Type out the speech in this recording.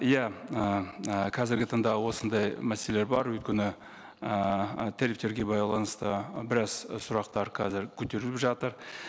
иә ііі қазіргі таңда осындай мәселелер бар өйткені ііі тарифтерге байланысты біраз і сұрақтар қазір көтеріліп жатыр